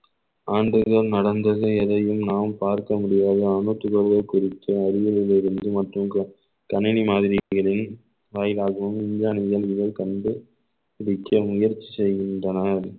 ஆண்டுகள் நடந்தது எதையும் நாம் பார்க்க முடியாது குறித்த அருகினிலேருந்து மற்றும் கணினி மாதிரிகளில் வயராகவும் விஞ்ஞானிகள் கண்டு பிடிக்க முயற்சி செய்கின்றனர்